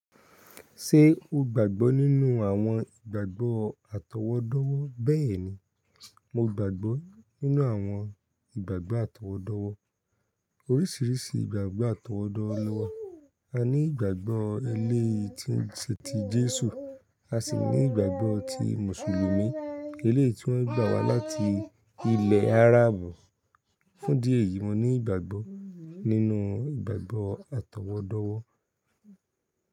Ṣé o gbàgbọ́ nínú àwọn ìgbàgbọ́ àtọwọ́dowọ́? Bẹ́ẹ̀ni, mo gbàgbọ́ nínú àwọn ìgbàgbọ́ àtọwọ́dowọ́. Oríṣìíríṣìí ìgbàgbọ́ àtọwọ́dáwọ́ ló wà. A ní ìgbàgbọ́ ẹlẹ́hìn tí ń ṣe ti Jésù, a sì ní ìgbàgbọ́ ti Mùsùlùmí. Elẹ́hì tí wọ́n gbé wá láti ilẹ̀ Áràbù. Fún idí eyìí, mo ní ìgbàgbọ́ nínú ìgbàgbọ́ àtọwọ́dáwọ́.